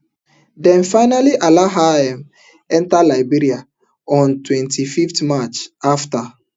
dem finally allow her um enta liberia on twenty-five march afta